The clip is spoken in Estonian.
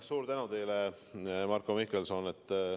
Suur tänu teile, Marko Mihkelson!